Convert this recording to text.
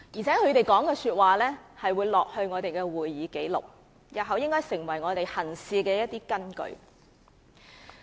他們的發言會記錄在會議紀錄中，成為日後行事的根據。